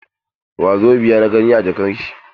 Wasobiya na gani a jakar shi.